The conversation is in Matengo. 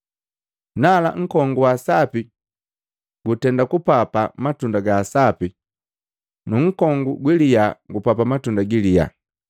Nala nkongu wa sapi gutenda kupapa matunda gasapi nu nkongu gwilyaa gupapa matunda giliya.